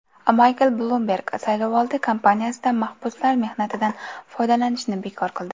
Maykl Blumberg saylovoldi kampaniyasida mahbuslar mehnatidan foydalanishni bekor qildi.